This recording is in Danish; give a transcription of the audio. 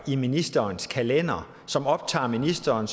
i ministerens kalender som optager ministeren